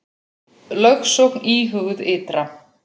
Lögsókn íhuguð ytra